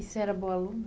E você era boa aluna?